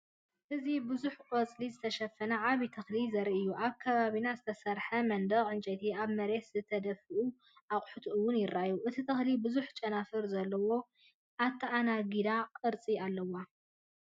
እዚ ብብዙሕ ቆጽሊ ዝተሸፈነ ዓቢ ተኽሊ ዘርኢ'ዩ። ኣብ ከባቢና ዝተሰርሐ መንደቕ ዕንጨይቲን ኣብ መሬት ዝተደፍኡ ኣቑሑትን'ውን ይረኣዩ። እቲ ተኽሊ ብዙሕ ጨናፍር ዘለዎ ኣተኣናጋዲ ቅርጺ ኣለዎ።